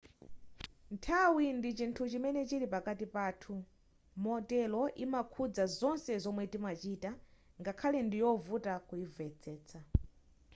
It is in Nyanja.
nthawi ndi chinthu chimene chili pakati pathu motero yimakhudza zonse zomwe timachita ngakhale ndiyovuta kuyimvetsetsa